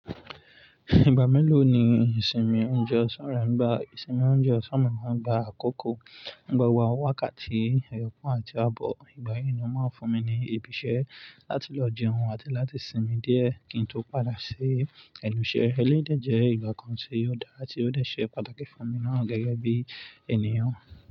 Ìgbà mélòó ni ìsinmi oúnjẹ ọ̀sán rẹ ń gba? Ìsinmi oúnjẹ ọ̀sán mi máa ń gba àkókò, nígbà wá wákàtí, ẹyọ̀kan àti abọ́. Ìgbà yí ni wón máa ń fún mi ní ibi iṣẹ́ láti lọ jẹun àti láti sinmi díẹ̀ kí n tó padà ṣe ẹnu iṣẹ́ eléyìí dẹ̀ jẹ́ ìgbà kan tí yóò dára tí ó dẹ̀ ṣe pàtàkì fún mi náà gẹ́gẹ́ bí ènìyàn.